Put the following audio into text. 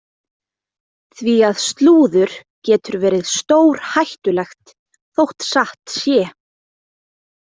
Því að slúður getur verið stórhættulegt þótt satt sé.